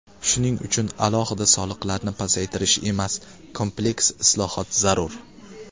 Shuning uchun alohida soliqlarni pasaytirish emas, kompleks islohot zarur.